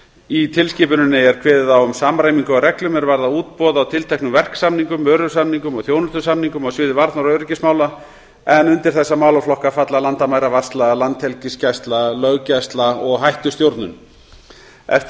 í tilskipuninni er kveðið á um samræmingu á reglum er varða útboð á tilteknum verksamningum vörusamningum og þjónustusamningum á sviði varnar og öryggismála en undir þessa málaflokka falla landamæravarsla landhelgisgæsla löggæsla og hættustjórnun eftir